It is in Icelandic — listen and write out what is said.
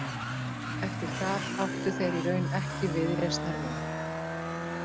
Eftir það áttu þeir í raun ekki viðreisnarvon.